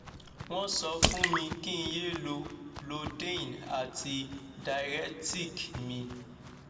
wọn sọ fún mi kí n yé lo lodein àti diaretic mi